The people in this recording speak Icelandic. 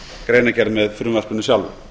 greinargerð með frumvarpinu sjálfu